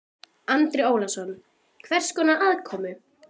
Andri Ólafsson: Hvers konar aðkomu?